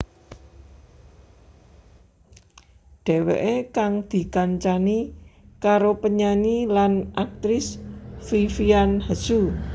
Dheweké kang dikancani karo penyanyi lan aktris Vivian Hsu